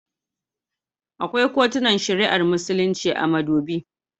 Akwai kotunan shari'ar Musulunci a Madobi.